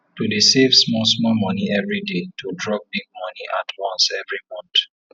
to dey save small small moni everi day to drop big moni at once everi month